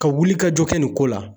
Ka wuli ka jɔ kɛ nin ko la.